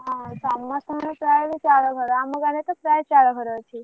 ହଁ ସମସ୍ତଙ୍କର ପ୍ରାୟତ ଚାଳଘର ଆମ ଗାଁରେ ତ ପ୍ରାୟ ଚାଳଘର ଅଛି।